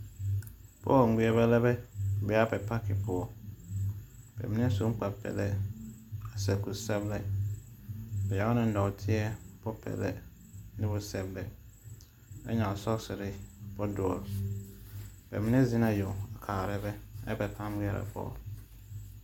Bɔl ŋmerbɛ lɛ be a be a pake poɔ. Bɛ mine sun kpar-pɛlpɛ, a sɛb kur-sɔblɛ. Bɛ ɛŋ ne nɔɔteɛ bopɛlɛ, a ɛŋ sɔɔsere bodoɔre. Bɛ mine zen na yeŋ kaarɛ bɛ ɛ ba pãã ŋmeɛrɛ a bɔl